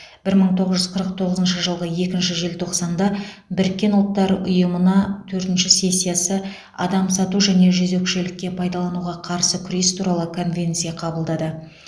бір мың тоғыз жүз қырық тоғызыншы жылғы екінші желтоқсанда біріккен ұлттар ұйымына төртінші сессиясы адам сату және жезөкшелікке пайдалануға қарсы күрес туралы конвенция қабылдады